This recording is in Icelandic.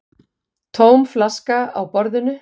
Tóm flaska á borðinu.